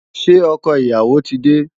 Ṣé ọkọ ìyàwó ti dé?